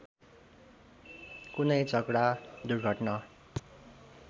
कुनै झगडा दुर्घटना